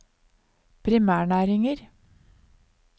primærnæringer